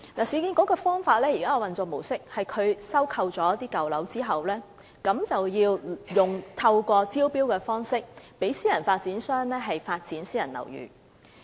市建局現時的運作模式，是在收購舊樓後，透過招標讓私人發展商發展私人樓宇。